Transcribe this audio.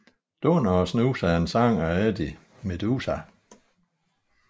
Dunder Å Snus er en sang af Eddie Meduza